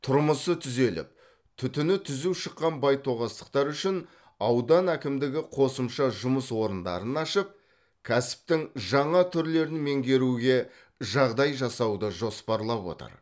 тұрмысы түзеліп түтіні түзу шыққан байтоғастықтар үшін аудан әкімдігі қосымша жұмыс орындарын ашып кәсіптің жаңа түрлерін меңгеруге жағдай жасауды жоспарлап отыр